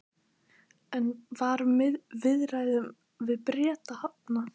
En var viðræðum við Breta hafnað?